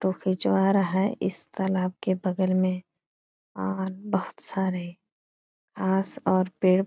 photo खिचवा रहा है इस तालाब के बगल मे और बहुत सारे आस और पेड़ --